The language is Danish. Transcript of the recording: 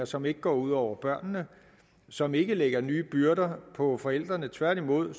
som ikke går ud over børnene som ikke lægger nye byrder på forældrene tværtimod